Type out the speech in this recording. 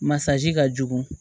Masaji ka jugu